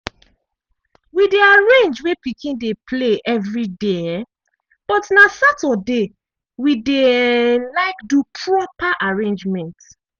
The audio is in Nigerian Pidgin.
we dey arrange wey pikin dey play evriday um but na saturday we dey um like do proper arrangement.